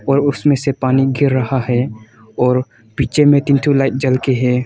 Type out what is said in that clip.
और उसमें से पानी गिर रहा है और पीछे में तीन ठो लाइट जलके है।